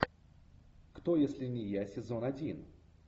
кто если не я сезон один